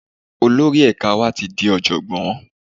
Olórí ẹ̀ka wa ti di Ọ̀jọ̀gbọ́n.